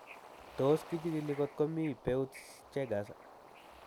Tos kichig'ili kotko mii Peutz Jeghers